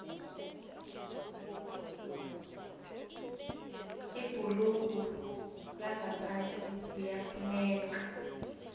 ibhurugu langaphasi liyafuneka